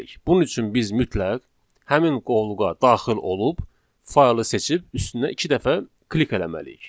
Bunun üçün biz mütləq həmin qovluğa daxil olub faylı seçib üstünə iki dəfə klik eləməliyik.